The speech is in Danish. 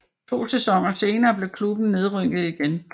To sæsoner senere blev klubben nedrykket igen